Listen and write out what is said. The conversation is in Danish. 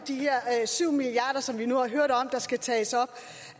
de her syv milliard kr som vi nu har hørt skal tages op